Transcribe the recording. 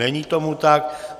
Není tomu tak.